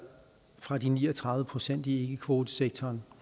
fra de ni og tredive procent i ikkekvotesektoren